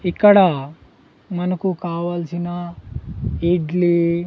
ఇక్కడ మనకు కావాల్సిన ఇడ్లీ--